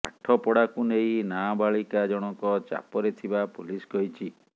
ପାଠପଢ଼ାକୁ ନେଇ ନାବାଳିକା ଜଣକ ଚାପରେ ଥିବା ପୁଲିସ୍ କହିଛି